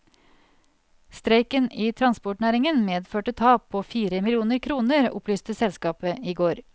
Streiken i transportnæringen medførte tap på fire millioner kroner, opplyste selskapet i går.